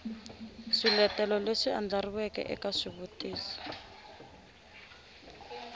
swiletelo leswi andlariweke eka xivutiso